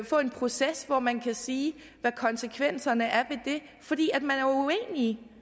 få en proces hvor man kan sige hvad konsekvenserne er af det fordi man og